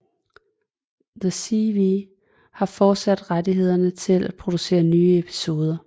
The CW har fortsat rettighederne til at producere nye episoder